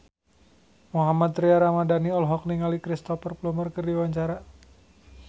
Mohammad Tria Ramadhani olohok ningali Cristhoper Plumer keur diwawancara